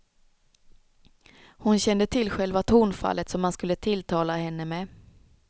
Hon kände till själva tonfallet som han skulle tilltala henne med.